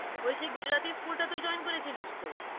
ওই সেই গুজরাতি school টা তুই join করেছিলিস তো?